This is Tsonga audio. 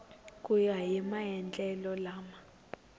ku ya hi maendlelo lama